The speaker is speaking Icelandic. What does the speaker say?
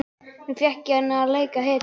Nú fékk hann að leika hetju.